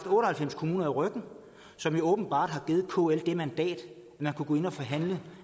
og halvfems kommuner i ryggen som jo åbenbart har givet kl det mandat at man kunne gå ind og forhandle